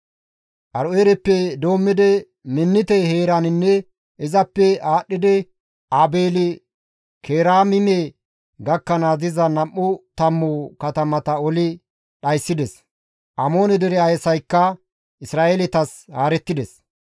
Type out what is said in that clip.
Aaro7eereppe doommidi Minnite heeraninne izappe aadhdhidi Aabeeli-Keraamime gakkanaas diza nam7u tammu katamata oli dhayssides; Amoone dere asaykka Isra7eeletas haarettides.